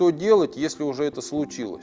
что делать если уже это случилось